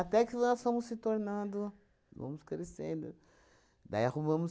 que nós fomos se tornando, fomos crescendo, daí arrumamos